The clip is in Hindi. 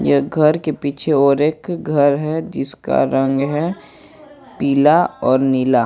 यह घर के पीछे एक और घर है जिसका रंग है पिला और नीला।